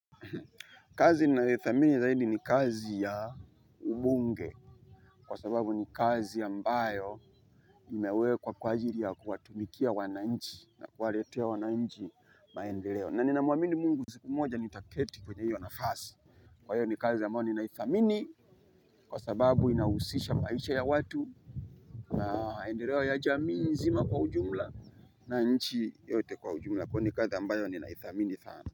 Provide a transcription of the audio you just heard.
Kazi ninayoidhamini zaidi ni kazi ya ubunge, kwa sababu ni kazi ambayo imewekwa kwa ajili ya kuwatumikia wananchi, na kuwaletea wananchi maendeleo. Ninamwamini mungu siku moja nitaketi kwenye hiyo nafasi. Kwa hiyo ni kazi ambayo ninaidhamini. Kwa sababu inahusisha maisha ya watu. Na maendeleo ya jamii nzima kwa ujumla. Na nchi yote kwa ujumla. Kwa hivyo ni kazi ambayo ninaidhamini sana.